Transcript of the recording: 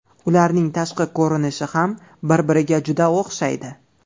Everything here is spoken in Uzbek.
Ularning tashqi ko‘rinishi ham bir-biriga juda o‘xshaydi.